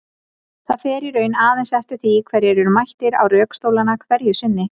Það fer í raun aðeins eftir því hverjir eru mættir á rökstólana hverju sinni.